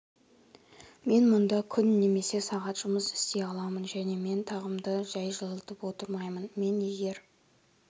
мен мұнда күн немесе сағат жұмыс істей аламын және мен тағымды жәй жылытып отырмаймын мен егер